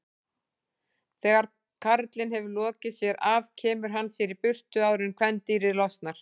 Þegar karlinn hefur lokið sér af kemur hann sér í burtu áður en kvendýrið losnar.